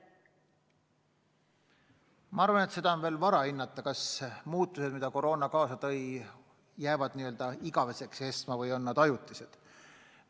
Ma arvan, et seda on veel vara hinnata, kas muutused, mis koroona kaasa tõi, jäävad igaveseks kestma või on need ajutised.